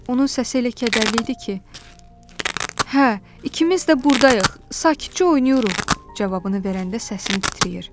Onun səsi elə kədərli idi ki, hə, ikimiz də buradayıq, sakitcə oynayırıq cavabını verəndə səsim titrəyir.